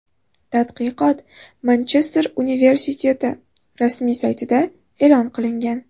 Tadqiqot Manchester universiteti rasmiy saytida e’lon qilingan .